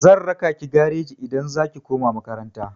Zan raka ki gareji idan za ki koma makaranta.